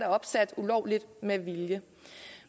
opsat ulovligt med vilje